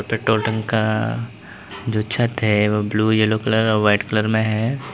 Petrol टांका जो छत है वो ब्लू येलो कलर और व्हाइट कलर में है।